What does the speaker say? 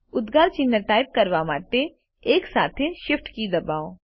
ઉદ્ગાર ચિહ્ન ટાઇપ કરવા માટે 1 સાથે Shift કી દબાવો